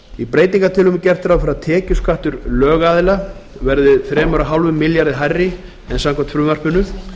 í breytingartillögum er gert ráð fyrir að tekjuskattur lögaðila verði þrjú þúsund fimm hundruð milljóna króna hærri en samkvæmt frumvarpinu sem